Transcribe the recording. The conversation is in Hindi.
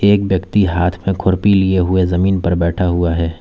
एक व्यक्ति हाथ में खुरपी लिए हुए जमीन पर बैठा हुआ है।